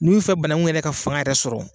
N'i bi fɛ banakun yɛrɛ ka fanga yɛrɛ sɔrɔ